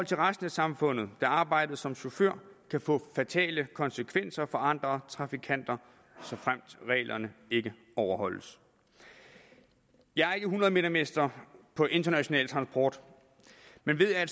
til resten af samfundet da arbejdet som chauffør kan få fatale konsekvenser for andre trafikanter såfremt reglerne ikke overholdes jeg er ikke hundrede meter mester på international transport men ved at